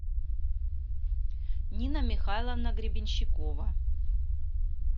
нина михайловна гребенщикова